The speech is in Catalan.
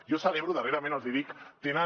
jo celebro darrerament els hi dic que tenen